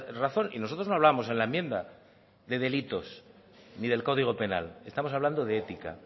razón y nosotros no hablamos en la enmienda de delitos ni del código penal estamos hablando de ética